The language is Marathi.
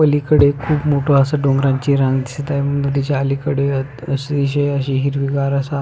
पलीकडे खुप मोठ अस डोंगरची रंग दिसत आहे नदीच्या अलीकडे अतिशय हिरवीगार असा--